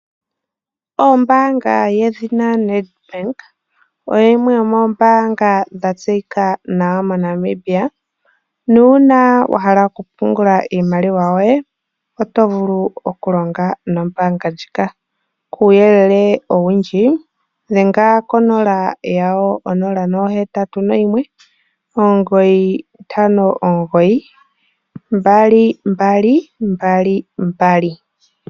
Ombanga yedhina Nedbank oyo yimwe yomembanga dha tseyika nawa mo Namibia ,uuna wa hala oku pungulilwa iimaliwa yoye oto vulu oku longa nombanga ndjika kuyelele owundji dhenga konomola yawo 0819592222.